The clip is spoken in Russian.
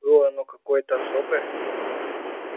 было оно какое-то особое